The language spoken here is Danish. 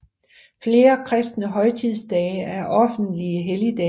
Flere kristne højtidsdage er offentlige helligdage